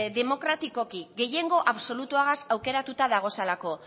demokratikoki gehiengo absolutuaz aukeratuta daudelako